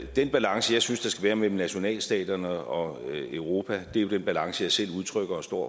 den balance jeg synes være mellem nationalstaterne og europa er jo den balance jeg selv udtrykker og står